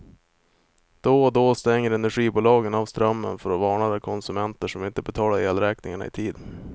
Då och då stänger energibolagen av strömmen för att varna de konsumenter som inte betalar elräkningarna i tid.